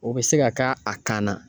O bɛ se ka a kan na.